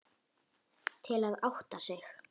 Til að átta sig.